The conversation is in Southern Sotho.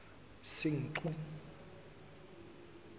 senqu